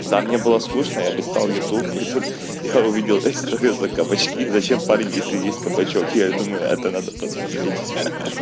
да мне было скучно я листал ютуб и тут я увидел историю за кабачки зачем парень если есть кабачок я и думаю это надо посмотреть